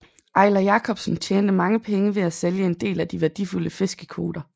Eiler Jacobsen tjente mange penge ved at sælge en del af de værdifulde fiskekvoter